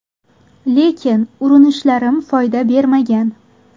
Lekin urinishlarim foyda bermagan.